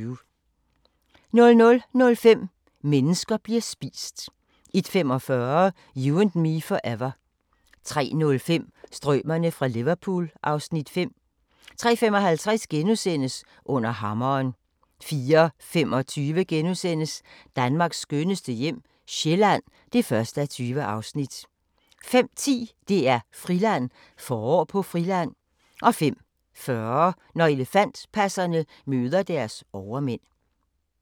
00:05: Mennesker bliver spist 01:45: You and me forever 03:05: Strømerne fra Liverpool (Afs. 5) 03:55: Under hammeren * 04:25: Danmarks skønneste hjem - Sjælland (1:20)* 05:10: DR-Friland: Forår på Friland 05:40: Når elefantpasserne møder deres overmænd